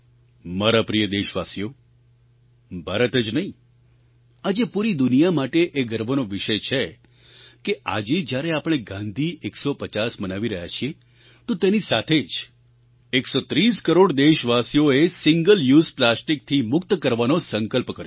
મારા પ્રિય દેશવાસીઓ ભારત જ નહીં આજે પૂરી દુનિયા માટે એ ગર્વનો વિષય છે કે આજે જ્યારે આપણે ગાંધી 150 મનાવી રહ્યા છીએ તો તેની સાથે જ 130 કરોડ દેશવાસીઓએ સિંગલ યુઝ પ્લાસ્ટિકથી મુક્ત કરવાનો સંકલ્પ કર્યો છે